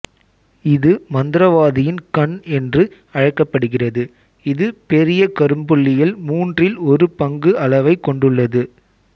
இது மந்திரவாதியின் கண் என்று அழைக்கப்படுகிறது இது பெரிய கரும்புள்ளியில் மூன்றில் ஒரு பங்கு அளவை கொண்டுள்ளது